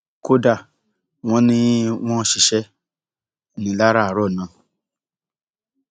kódà wọn ní wọn ṣiṣẹ ńìlararó náà